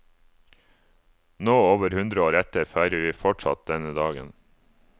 Nå, over hundre år etter, feirer vi fortsatt denne dagen.